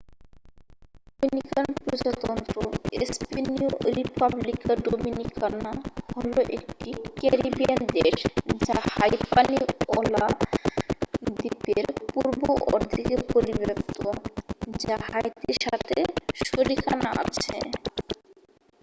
Dominican প্রজাতন্ত্র স্পেনিয়ঃ রিপাব্লিকা ডোমিনিকানা হল একটি ক্যারিবিয়ান দেশ যা হাইপানিওলা দ্বীপের পূর্ব অর্ধেকে পরিব্যাপ্ত যা হাইতির সাথে শরিকানা আছে